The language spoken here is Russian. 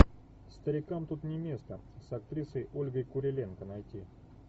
старикам тут не место с актрисой ольгой куриленко найти